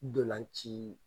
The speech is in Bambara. ntolanci.